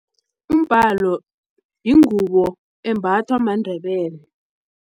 Umbhalo yingubo embathwa maNdebele.